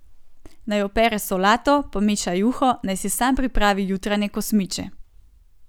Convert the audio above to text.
Naj opere solato, pomeša juho, naj si sam pripravi jutranje kosmiče.